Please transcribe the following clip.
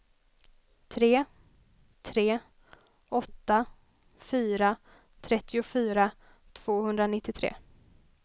tre tre åtta fyra trettiofyra tvåhundranittiotre